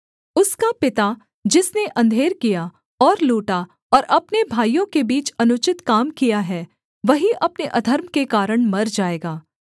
उसका पिता जिसने अंधेर किया और लूटा और अपने भाइयों के बीच अनुचित काम किया है वही अपने अधर्म के कारण मर जाएगा